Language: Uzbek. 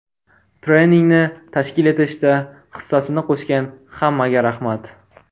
Treningni tashkil etishda hissasini qo‘shgan hammaga rahmat.